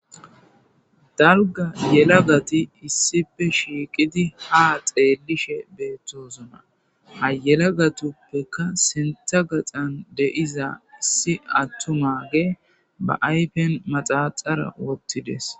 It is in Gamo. Dalga yelagat issippe shiqid ha xelishe betosona.ha gelatapeka sintha gaxan de'za issi atumagey ba ayfen maxaxara wothides.